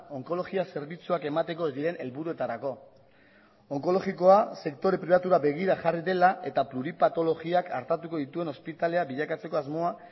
onkologia zerbitzuak emateko ez diren helburuetarako onkologikoa sektore pribatura begira jarri dela eta pluripatologiak artatuko dituen ospitalea bilakatzeko asmoa